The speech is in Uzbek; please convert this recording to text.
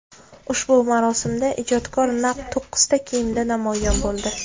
Ushbu marosimda ijodkor naq to‘qqizta kiyimda namoyon bo‘ldi.